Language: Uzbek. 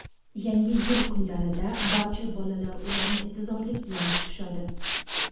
Yangi yil kunlarida barcha bolalar ularni intizorlik bilan kutishadi.